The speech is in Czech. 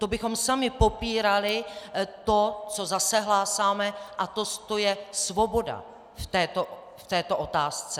To bychom sami popírali to, co zase hlásáme, a to je svoboda v této otázce.